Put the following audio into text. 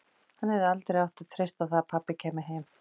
Hann hefði aldrei átt að treysta á að pabbi kæmi heim.